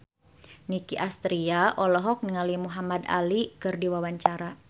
Nicky Astria olohok ningali Muhamad Ali keur diwawancara